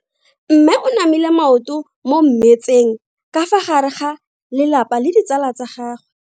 Mme o namile maoto mo mmetseng ka fa gare ga lelapa le ditsala tsa gagwe.